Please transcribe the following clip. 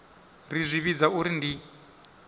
ri zwi vhidza uri ndi